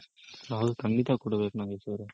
ಹೌದು ಖಂಡಿತ ಕೊಡ್ಬೇಕ್ ನಾಗೇಶ್ ಅವ್ರೆ.